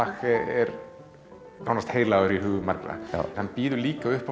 er nánast heilagur í hugum margra en býður líka upp á